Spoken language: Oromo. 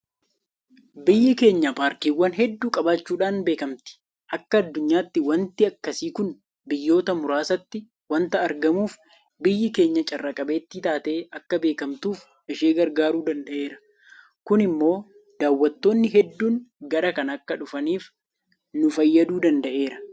Biyyi keenya paarkiiwwan hedduu qabaachuudhaan beekamti. Akka addunyaatti waanti akkasii kun biyyoota muraasatti waanta argamuuf biyyi keenya carraa qabeettii taatee akka beekamtuuf ishee gargaaruu danda'eera. Kun immoo daawwattoonni hedduun gara kana akka dhufaniif nu fayyaduu danda'eera.